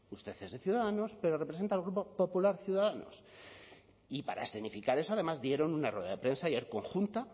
usted es de ciudadanos pero representa al grupo popular ciudadanos y para escenificar eso además dieron una rueda de prensa ayer conjunta